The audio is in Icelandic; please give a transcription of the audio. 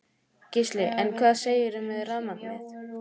Gísli: En hvað segirðu með rafmagnið?